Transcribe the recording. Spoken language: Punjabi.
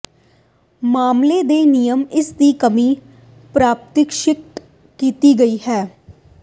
ਮਾਮਲੇ ਦੇ ਨਿਯਮ ਇਸ ਦੀ ਕਮੀ ਪਰਿਭਾਸ਼ਿਤ ਕੀਤੇ ਗਏ ਹਨ